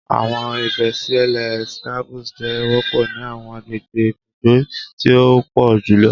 Awọn ibesile scabies jẹ wọpọ ni awọn agbegbe ibugbe ti o pọ julọ